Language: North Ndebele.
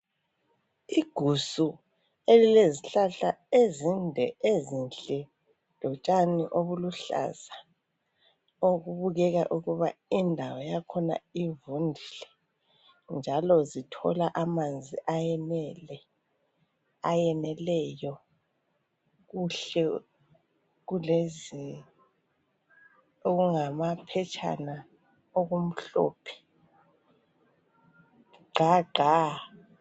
Igusu elilezihlahla ezinde ezinhle lotshani obuluhlaza okubukeka ukuba indawo yakhona ivundile njalo zithola amanzi ayeneleyo. Kuhle kulezi okungamaphetshana okumhlophe gqa gqa.